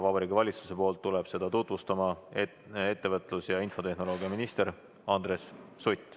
Vabariigi Valitsuse nimel tuleb seda tutvustama, ettevõtlus‑ ja infotehnoloogiaminister Andres Sutt.